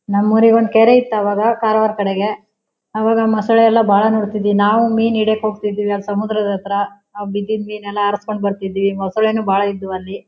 ನಮ್ ಊರಿಗೆ ಒಂದ್ ಕೆರೆ ಇತ್ತು ಅವಾಗ ಕಾರವಾರ ಕಡೆಗೆ ಅವಾಗ ಮಸೂಳೆ ಎಲ್ಲ ಬಹಳ ನೋಡ್ತಿದ್ವಿ ನಾವು ಮೀನು ಹಿಡಿಯೋಕ್ಕೆ ಹೋಗ್ತಿದ್ವಿ ಆ ಸಮುದ್ರಾದ ಹತ್ರ ಬಿದಿದ್ದ ಮಿನ್ ಎಲ್ಲ ಆರಿಸಿಕೊಂಡು ಬರ್ತಿದ್ವಿ ಮಸೂಳೆ ನು ಬಹಳ ಇದ್ವು ಅಲ್ಲಿ.